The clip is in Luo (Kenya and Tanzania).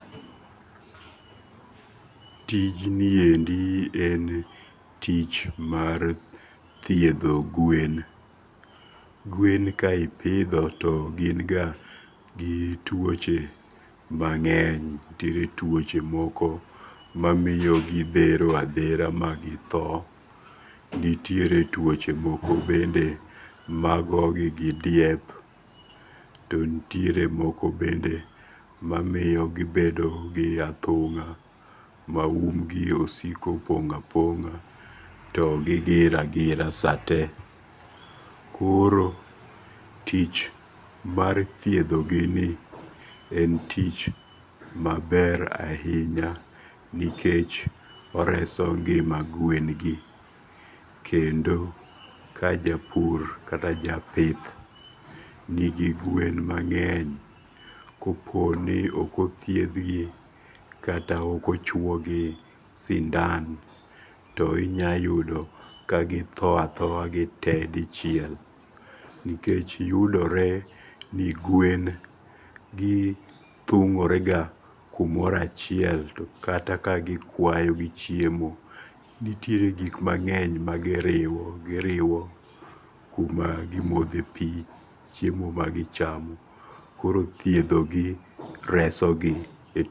TIjniendi en tich mar thiethoo guen, guen ka ithietho, gin ga gi twoche mange'ny, nitiere tuoche moko mamiyo githero athera magitho, nitiere tuoche moko bende magogi gi diep, to nitiere moko bende ma miyogi gibedo gi athunga' ma umgi osiko pong' aponga to gi gir agira sate, koro tich mar thiethogini en tich maber ahinya nikech oreso ngi'ma gwengi kendo ka japur kata japith nigi gwen mange'ny koponi okothiethgi kaka okochuogi sindan to inyalo yudo ka githo athoya te dichiel, nikech yudore ni gwengi thungo'rega kumoro achiel to kata ka gikwayo gi chiemo, nitiere gik mange'ny magiriwo giriwo gi kuma gimothe pi, chiemo magichamo ,koro thiethogi resogi